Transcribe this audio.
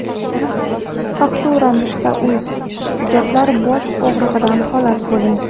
Faktura.uz: Hujjatlar bosh og‘rig‘idan xalos bo‘ling.